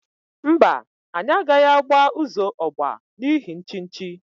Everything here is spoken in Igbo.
Mba, anyi agaghi agba uzo ogba n'ihi nchichi.